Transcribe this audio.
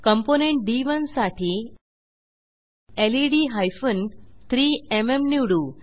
component D one साठी LED hyphen 3एमएम निवडू